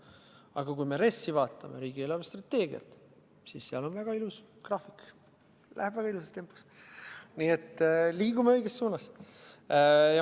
Aga kui me riigi eelarvestrateegiat vaatame, siis seal on väga ilus graafik, mis läheb väga ilusas tempos, nii et me liigume õiges suunas.